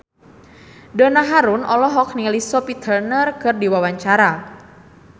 Donna Harun olohok ningali Sophie Turner keur diwawancara